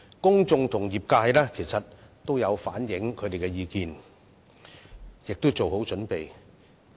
公眾和業界已反映意見，並已做好準備。